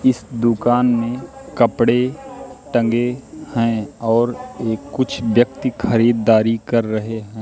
इस दुकान में कपड़े टंगे हैं और एक कुछ व्यक्ति खरीदारी कर रहे हैं।